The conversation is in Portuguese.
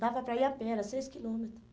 Dava para ir a pé, era seis quilômetros.